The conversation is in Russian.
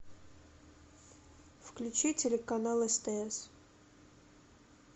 включи телеканал стс